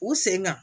U sen ka